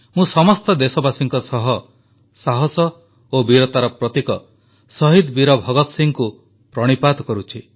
ମୁଁ ସମସ୍ତ ଦେଶବାସୀଙ୍କ ସହ ସାହସ ଓ ବୀରତାର ପ୍ରତୀକ ଶହୀଦ ବୀର ଭଗତ ସିଂହଙ୍କୁ ପ୍ରଣିପାତ କରୁଛି